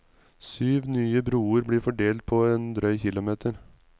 Syv nye broer blir fordelt på en drøy kilometer.